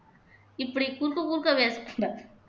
இப்படி குறுக்க குறுக்க பேசக்கூடாது